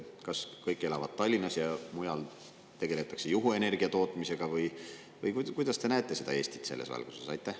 Kas kõik elavad Tallinnas ja mujal tegeletakse juhuenergia tootmisega või kuidas te näete Eestit selles valguses?